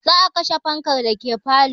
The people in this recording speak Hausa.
Za a kashe fankan dake falo